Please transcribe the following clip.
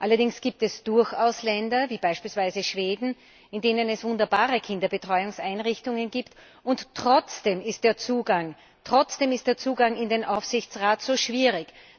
Allerdings gibt es durchaus Länder, wie beispielweise Schweden, in denen es wunderbare Kinderbetreuungseinrichtungen gibt, und trotzdem ist der Zugang in den Aufsichtsrat zu schwierig.